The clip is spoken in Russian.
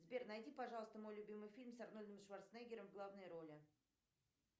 сбер найди пожалуйста мой любимый фильм с арнольдом шварценеггером в главной роли